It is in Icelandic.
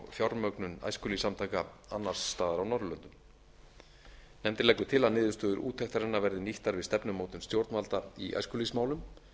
fjármögnun æskulýðssamtaka annars staðar á norðurlöndum nefndin leggur til að niðurstöður úttektarinnar verði nýttar við stefnumótun stjórnvalda í æskulýðsmálum